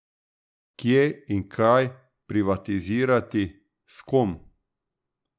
Kje in kaj privatizirati, s kom?